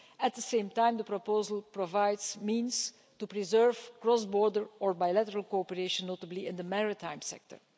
At the same time, the proposal provides means to preserve cross-border or bilateral cooperation, notably in the maritime sector.